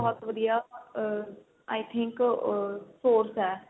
ਵਧੀਆ ਆ I think ਆ source ਏ